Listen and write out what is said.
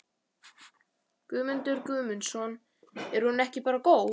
Guðmundur Guðmundsson: Er hún ekki bara góð?